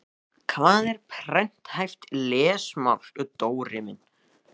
Hvað er prenthæft lesmál, Dóri minn?